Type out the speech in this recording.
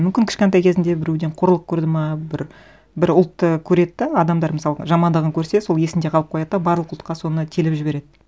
мүмкін кішкентай кезінде біреуден қорлық көрді ме бір ұлтты көреді де адамдар мысалы жамандығын көрсе сол есінде қалып қояды да барлық ұлтқа соны телеп жібереді